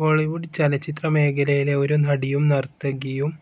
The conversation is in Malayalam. ബോളിവുഡ് ചലച്ചിത്ര മേഖലയിലെ ഒരു നടിയും, നർത്തകിയും,